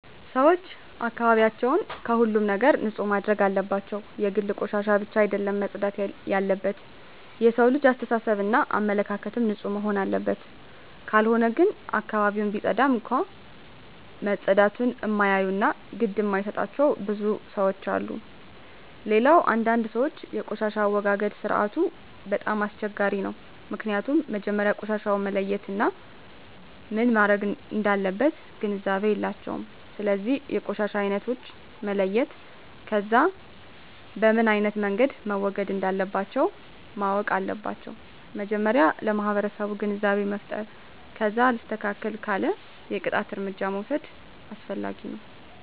ሰወች አካባቢያቸውን ከሁሉም ነገር ንፁህ ማድረግ አለባቸው የግድ ቆሻሻ ብቻ አደለም መፅዳት የለበት የሠው ልጅ አሰተሳሰብ እና አመለካከትም ንፁህ መሆንና አለበት ካልሆነ ግን አካባቢውን ቢፀዳም እንኳ መፀዳቱን እማያዮ እና ግድ እማይጣቸው ብዙ ለሠዎች አሉ። ሌላው አንዳንድ ሰወች የቆሻሻ አወጋገድ ስርዓቱ በጣም አስቸጋሪ ነው ምክኒያቱም መጀመሪያ ቆሻሻውን መለየት እና ምን መረግ እንዳለበት ግንዛቤ የላቸውም ስለዚ የቆሻሻ አይነቶችን መለየት ከዛ በምኖ አይነት መንገድ መወገድ እንለባቸው ማወቅ አለባቸው መጀመሪያ ለማህበረሰቡ ግንዛቤ መፍጠር ከዛ አልስተካክል ካለ የቅጣት እርምጃ መውስድ አስፈላጊ ነው